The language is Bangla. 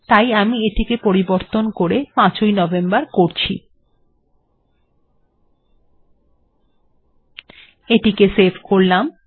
তাই আমি এখন এটিকে পরিবর্তন করে ৫ তারিখ করব এবং এটিকে সেভ্ করব